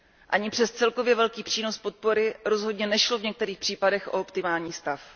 Ani přes celkově velký přínos podpory rozhodně nešlo v některých případech o optimální stav.